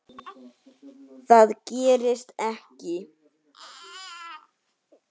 Það gerist ekki.